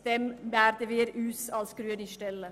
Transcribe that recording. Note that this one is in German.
Dem würden wir uns als Grüne stellen.